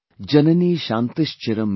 सत्यंसूनुरयंदयाचभगिनीभ्रातामनःसंयमः।